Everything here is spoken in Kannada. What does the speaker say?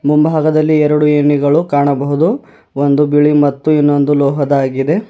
ಮುಂಭಾಗದಲ್ಲಿ ಎರಡು ಏಣಿಗಳು ಕಾಣಬಹುದು ಒಂದು ಬಿಳಿ ಮತ್ತು ಇನ್ನೊಂದು ಲೋಹದಾಗಿದೆ.